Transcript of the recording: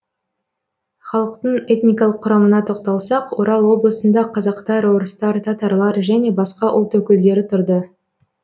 халықтың этникалық құрамына тоқталсақ орал облысында қазақтар орыстар татарлар және басқа ұлт өкілдері тұрды